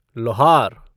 लोहार